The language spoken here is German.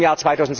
bis zum Jahr